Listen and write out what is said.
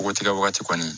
Ko tigɛ wagati kɔni